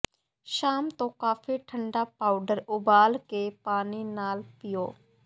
ਸ਼ਾਮ ਤੋਂ ਕਾਫੀ ਠੰਢਾ ਪਾਊਡਰ ਉਬਾਲ ਕੇ ਪਾਣੀ ਨਾਲ ਭਿਓ